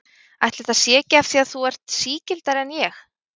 Ætli það sé ekki af því að þú ert sigldari en ég.